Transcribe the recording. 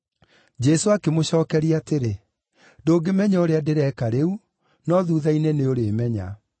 Jesũ akĩmũcookeria atĩrĩ, “Ndũngĩmenya ũrĩa ndĩreka rĩu, no thuutha-inĩ nĩũrĩmenya.”